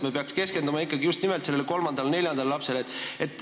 Me peaksime keskenduma ikkagi just nimelt kolmandale või neljandale lapsele.